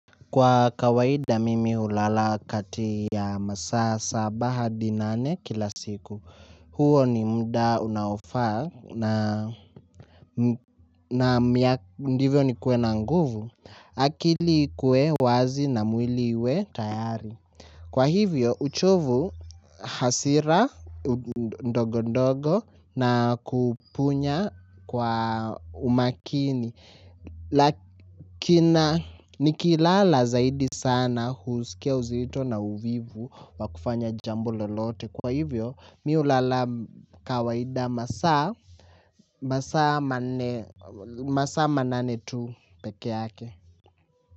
Kwa kawaida mimi hulala kati ya masaa saba hadi nane kila siku. Huo ni mda unaofaa na ndivyo nikue na nguvu. Akili ikue wazi na mwili uwe tayari. Kwa hivyo uchovu, hasira ndogo ndogo na kupunya kwa umakini. Lakina nikilala zaidi sana husikia uzito na uvivu wakufanya jambo lolote. Kwa hivyo mi hulala kawaida masaa masaa manane tu peke yake.